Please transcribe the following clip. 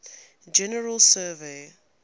general surgery